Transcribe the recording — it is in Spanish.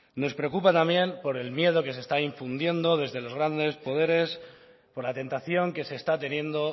nos preocupa también por el miedo que se está infundiendo desde los grandes poderes por la tentación que se está teniendo